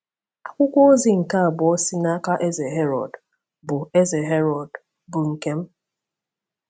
Akwụkwọ ozi nke abụọ si n’aka Eze Herọd bụ Eze Herọd bụ nke m.